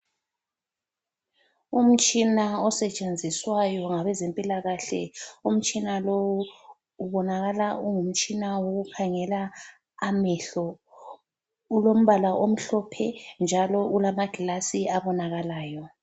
Umtshina osetshenziswayo ngabezempilakahle umtshina lowu ubonakala ungumtshina owokukhangela amehlo. Ulombala omhlophe njalo ulama glass abonakalayo.